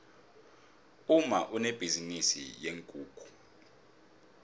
umma unebhizinisi yeenkukhu